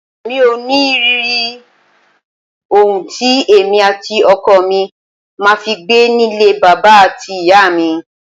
Mi ò ní rí ohun tí èmi àti ọkọ mi ma fi gbé nílé bàbà àti ìyá mi.